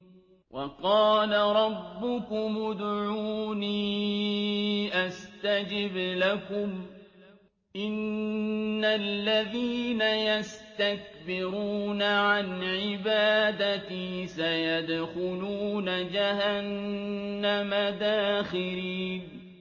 وَقَالَ رَبُّكُمُ ادْعُونِي أَسْتَجِبْ لَكُمْ ۚ إِنَّ الَّذِينَ يَسْتَكْبِرُونَ عَنْ عِبَادَتِي سَيَدْخُلُونَ جَهَنَّمَ دَاخِرِينَ